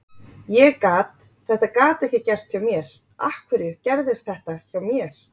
Ég gat, þetta gat ekki gerst hjá mér, af hverju gerðist þetta hjá mér?